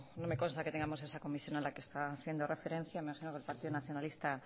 no me consta que tengamos esa comisión a la que está haciendo referencia imagino que el partido nacionalista